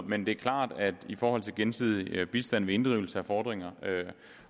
men det er klart at i forhold til gensidig bistand ved inddrivelse af fordringer